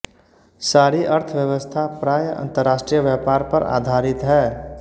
सारी अर्थव्यवस्था प्राय अंतर्राष्ट्रीय व्यापार पर आधारित है